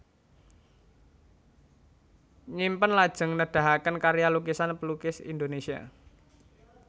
Nyimpen lajeng nedahaken karya lukisan pelukis Indonesia